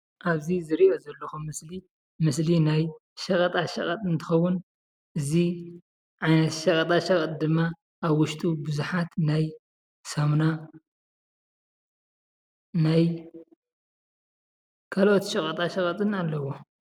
ኣብ እዝ ዝርኦ ዞሎኩ ምስሊ ናይ ሸቀጣሸቀጠ እንትከዉን እዝ ዓይነት ሸቀጣ ሸቀጥ ዲማ ኣብ ዉሹጡ ቡዛሓት ናይ ሳምና ናይ ካሎኦት ሸቀጣሸቀጥን ኣሎዎሞ፡፡